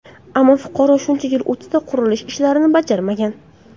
Ammo fuqaro shuncha yil o‘tsa-da, qurilish ishlarini bajarmagan.